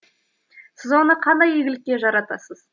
сіз оны қандай игілікке жаратасыз